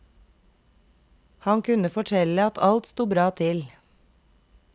Han kunne fortelle at alt sto bra til.